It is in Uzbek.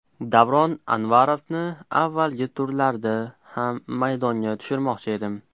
Davron Anvarovni avvalgi turlarda ham maydonga tushirmoqchi edim.